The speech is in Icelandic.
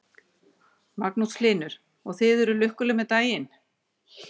Magnús Hlynur: Og þið eruð lukkuleg með daginn?